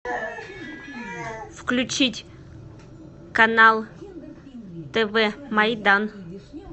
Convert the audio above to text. включить канал тв майдан